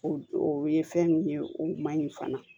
O o ye fɛn min ye o man ɲi fana